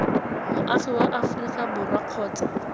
moagi wa aforika borwa kgotsa